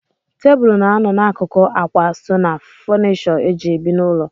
Tebụl na-anọ n'akụkụ ákwà so ná fọnishọ eji ebi n'ụlọ.